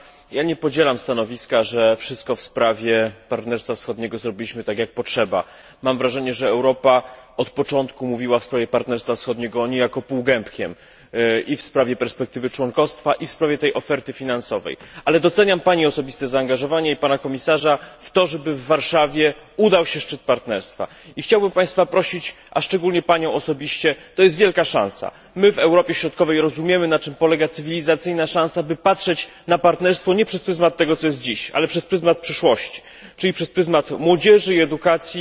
Panie Komisarzu! Ja nie podzielam stanowiska, że wszystko w sprawie Partnerstwa Wschodniego zrobiliśmy tak, jak potrzeba. Mam wrażenie, że Europa od początku mówiła w sprawie Partnerstwa Wschodniego niejako półgębkiem i w sprawie perspektywy członkostwa, i w sprawie tej oferty finansowej. Ale doceniam Pani osobiste zaangażowanie i zaangażowanie Pana Komisarza w to, żeby w Warszawie udał się szczyt partnerstwa. Chciałbym Państwa prosić, a szczególnie Panią osobiście to jest wielka szansa, my w Europie Środkowej rozumiemy na czym polega cywilizacyjna szansa by patrzeć na partnerstwo nie przez pryzmat tego, co jest dziś, ale przez pryzmat przyszłości, czyli przez pryzmat młodzieży i edukacji.